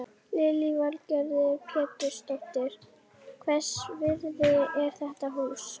Lillý Valgerður Pétursdóttir: Hvers virði er þetta hús?